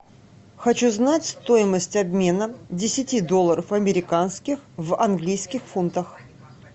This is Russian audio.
хочу знать стоимость обмена десяти долларов американских в английских фунтах